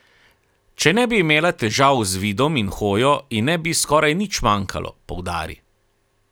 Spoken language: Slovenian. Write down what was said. Če ne bi imela težav z vidom in hojo, ji ne bi skoraj nič manjkalo, poudari.